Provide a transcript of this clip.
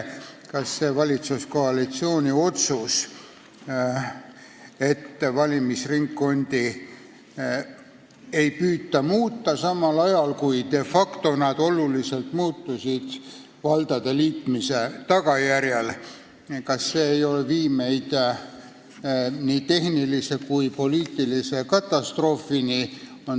Ja nimelt: kas see valitsuskoalitsiooni otsus, et valimisringkondi ei püüta muuta, kuigi need de facto muutusid valdade liitmise tagajärjel olulisel määral, ei vii meid nii tehnilise kui ka poliitilise katastroofini.